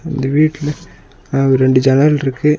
இந்த வீட்ல அ ரெண்டு ஜன்னல் இருக்கு.